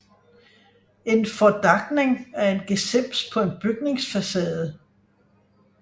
En fordakning er en gesims på en bygningsfacade